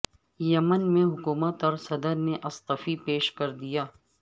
یمن میں حکومت اور صدر نے استعفی پیش کر دیا